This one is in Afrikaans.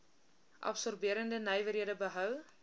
absorberende nywerhede bou